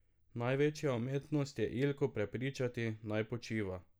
Največja umetnost je Ilko prepričati, naj počiva.